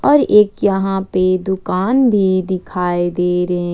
और एक यहां पर दुकान भी दिखाई दे रहे--